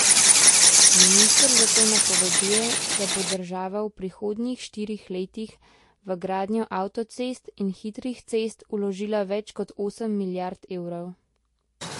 Minister zato napoveduje, da bo država v prihodnjih štirih letih v gradnjo avtocest in hitrih cest vložila več kot osem milijard evrov.